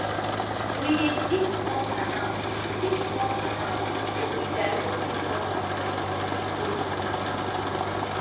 we dey dig small canal dig small canal make we direct rainwater well for peak rainy season